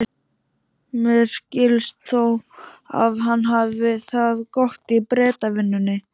Mér skilst þó að hann hafi það gott í Bretavinnunni.